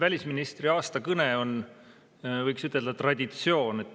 Välisministri aastakõne on, võiks ütelda, traditsioon.